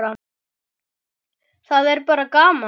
Það er bara gaman